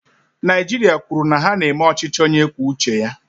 Naijiria kwuru na ha na-eme ọchịchị onye kwuo uche ya.